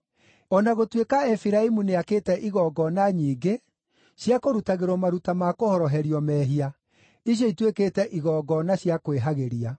“O na gũtuĩka Efiraimu nĩakĩte igongona nyingĩ cia kũrutagĩrwo maruta ma kũhoroherio mehia, icio ituĩkĩte igongona cia kwĩhagĩria.